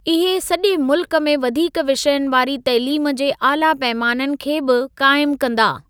इहे सॼे मुल्क में वधीक विषयनि वारी तइलीम जे आला पैमाननि खे बि काइमु कंदा।